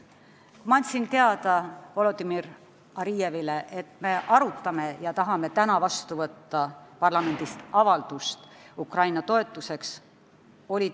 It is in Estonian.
Ma andsin Volodõmõr Arievile teada, et me arutame täna parlamendis avaldust Ukraina toetuseks ja tahame seda vastu võtta.